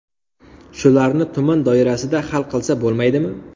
Shularni tuman doirasida hal qilsa bo‘lmaydimi?